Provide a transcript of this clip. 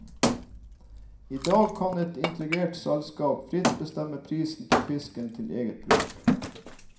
I dag kan et integrert selskap fritt bestemme prisen på fisken til eget bruk.